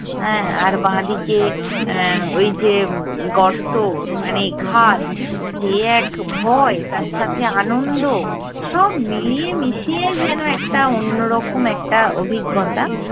হ্যাঁ আর বাঁদিকে এ্যা ওই যে গর্ত মানে খাদ। যে এক ভয় তার সাথে আনন্দ, সব মিলিয়ে মিশিয়ে যেনো একটা অন্যরকম একটা অভিজ্ঞতা